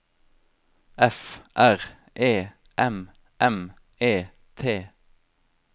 F R E M M E T